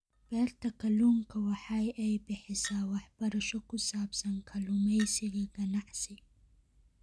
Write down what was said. Beerta kalluunka waxa ay bixisaa waxbarasho ku saabsan kalluumaysiga ganacsi.